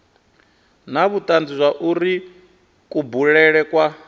na vhutanzi zwauri kubulele kwa